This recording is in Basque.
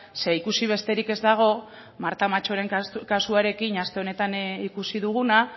ze ikusi besterik ez dago marta machoren kasuarekin aste honetan ikusi duguna